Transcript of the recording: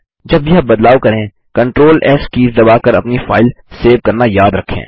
जब भी आप बदलाव करें CTRLS कीज़ दबाकर अपनी फाइल सेव करना याद रखें